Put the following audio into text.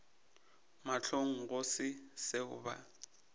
mahlong go se seo ba